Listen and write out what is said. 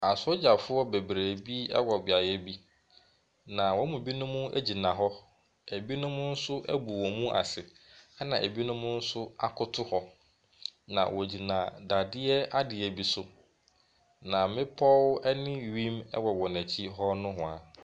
Asogyafoɔ bebree bi wɔ beaeɛ bi, na wɔn mu binom gyina hɔ. Ebinom nso abu wɔn mu ase, ɛnna ebinom nso akoto hɔ, na wɔgyina dadeɛ adeɛ bi so, na mmepɔ ne wiem wɔ wɔn akyi hɔ nohoa.